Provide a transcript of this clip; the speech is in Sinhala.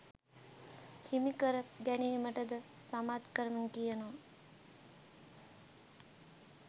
හිමි කර ගැනීමට ද සමත්කම් කියනවා